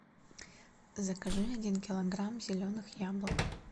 закажи один килограмм зеленых яблок